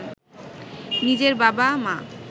নিজের বাবা, মা